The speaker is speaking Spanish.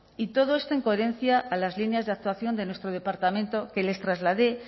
y todo esto en coherencia a las líneas de actuación de nuestro departamento que les trasladé